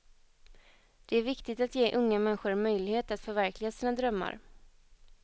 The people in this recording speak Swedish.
Det är viktig att ge unga människor en möjlighet att förverkliga sina drömmar.